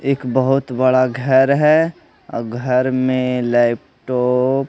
एक बहुत बड़ा घर है और घर में लैपटॉप --